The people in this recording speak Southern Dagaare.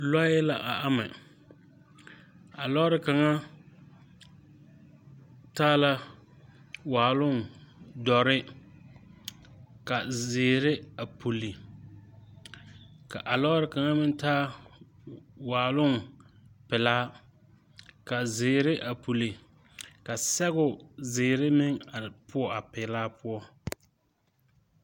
Lɔɛ la a ama a lɔɔre kaŋa taa la waaloŋ dɔre ka zeere a pulle ka a lɔɔre kaŋa meŋ taa waaloŋ pelaa ka zeere a pulle ka sɛgoo zeere meŋ are poɔ a peɛlaa poɔ.